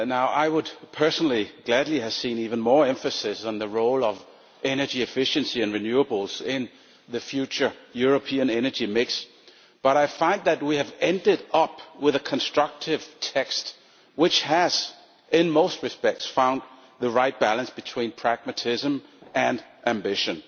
I would personally gladly have seen even more emphasis on the role of energy efficiency and renewables in the future European energy mix, but I find that we have ended up with a constructive text which has, in most respects, found the right balance between pragmatism and ambition.